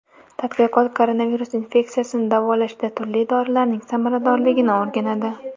Tadqiqot koronavirus infeksiyasini davolashda turli dorilarning samaradorligini o‘rganadi.